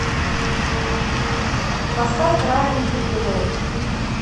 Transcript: поставь райан бигелоу